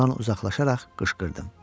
Ondan uzaqlaşaraq qışqırdım.